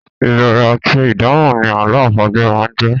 Ìbéèrè àti ìdáhùn ni àlọ́ àpagbè máa ń jẹ́.